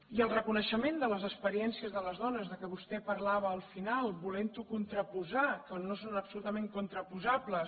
i el reconeixement de les experiències de les dones de què vostè parlava al final volent ho contraposar quan no són absolutament contraposables